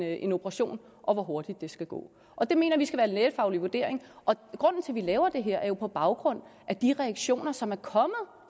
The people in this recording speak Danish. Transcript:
en operation og hvor hurtigt det skal gå og det mener vi skal være en lægefaglig vurdering og når vi laver det her er det jo på baggrund af de reaktioner som er kommet